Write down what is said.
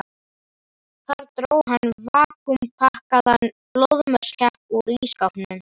Þar dró hann vakúmpakkaðan blóðmörskepp úr ísskápnum.